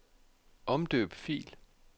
Omdøb fil.